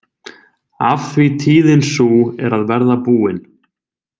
Af því tíðin sú er að verða búin.